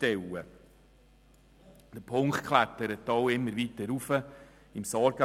Dieser Punkt auf dem Sorgenbarometer klettert immer weiter nach oben.